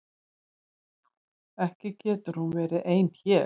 Ekki getur hún verið hér ein.